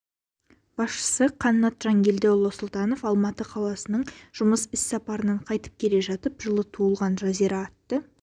басшысы қаннат жангелдіұлы сұлтанов алматы қаласынаң жұмыс іс сапарынан қайтып келе жатып жылы туылған жазира атты